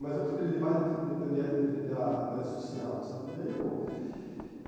Mas eu preferi, de base, defender defender a tese social. E aí eu